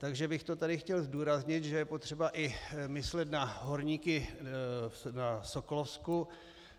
Takže bych to tady chtěl zdůraznit, že je potřeba i myslet na horníky na Sokolovsku.